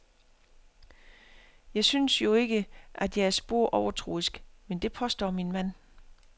Jeg synes jo ikke, at jeg er spor overtroisk, men det påstår min mand.